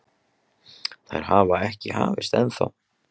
Þær hafa ekki hafist ennþá.